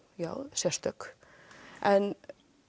sérstök en